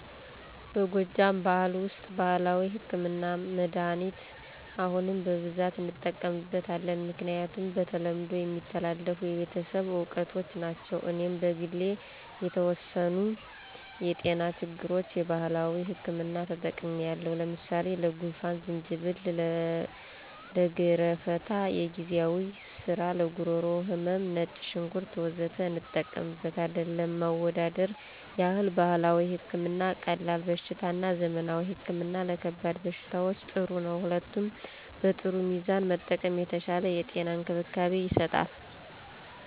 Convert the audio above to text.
በጎጃም ብኋል ውስጥ ባህላዊ ህክምና(መድኃኒት) አሁንም በብዛት እንጠቀምበት አለን። ምክንያቱም በተለምዶ የሚተላለፍ የቤተሰብ እውቀቶች ናቸው። እኔም በግሌ ለተወሰኑ የጤና ችግሮች የባህላዊ ህክምና ተጠቅሚለው ለምሳሌ፦ ለጉንፍን=ዝንጅብል፣ ለገረፍታ=የግዜዋ ስር፣ ለጉሮሮ ህመም =ነጭ ሽንኩርት... ወዘተ እንጠቀምበታለን። ለማወዳደር ይህል ባህላዊ ህክምና ቀላል በሽታ እና ዘመናዊ ህክምና ለከባድ በሽታዎች ጥሩ ነው። ሁለቱም በጥሩ ሚዛን መጠቀም የተሻለ የጤና እንክብካቤ ይሰጣል።